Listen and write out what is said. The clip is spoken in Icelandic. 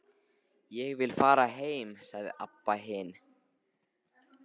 Ég vil fara heim, sagði Abba hin.